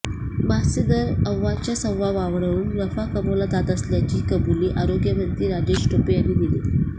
मास्कचे दर अव्वाच्या सव्वा वाढवून नफा कमावला जात असल्याची कबुली आरोग्यमंत्री राजेश टोपे यांनी दिली